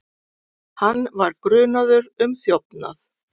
Hann var grunaður um þjófnað.